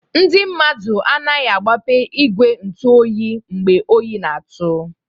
Ndị mmadụ anaghị-agbape igwe ntu oyi mgbe oyi n'atụ.